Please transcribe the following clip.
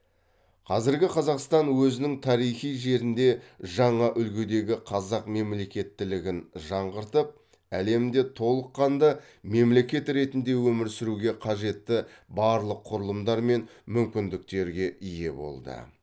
қазіргі қазақстан өзінің тарихи жерінде жаңа үлгідегі қазақ мемлекеттілігін жаңғыртып әлемде толыққанды мемлекет ретінде өмір сүруге қажетті барлық құрылымдар мен мүмкіндіктерге ие болды